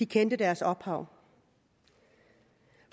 kendte deres ophav